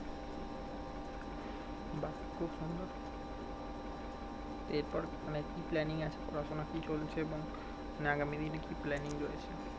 খুব সুন্দর এরপর মানে কি planning আছে পড়াশোনা কি চলছে এবং আগামী দিনে কি planning চলছে